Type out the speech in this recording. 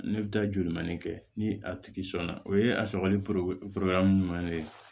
Ne bɛ taa joli mandi kɛ ni a tigi sɔnna o ye a sɔgɔli ɲuman de